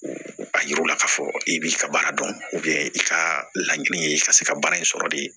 A yira u la ka fɔ i b'i ka baara dɔn i ka laɲini ye i ka se ka baara in sɔrɔ de